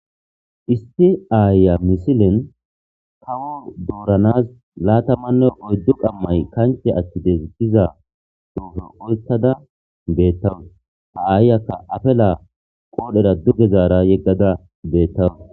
isti aaya misilen kawo dooranas laatamanne oyddu qammay kanche attidestiza duufe oytada beettawus ha aayyakka afela qoodhera duge zaara yeggada beettawu